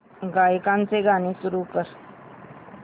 गायकाचे गाणे सुरू कर